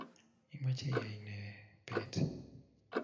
imeche iyay ne beet?